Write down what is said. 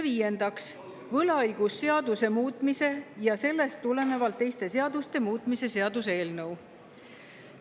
Viiendaks, võlaõigusseaduse muutmise ja sellest tulenevalt teiste seaduste muutmise seaduse eelnõu.